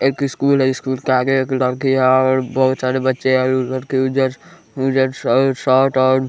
एक स्कूल है स्कूल के आगे एक लड़की है और बहुत सारे बच्चे और लड़के जस्ट --